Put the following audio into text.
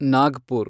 Nagpur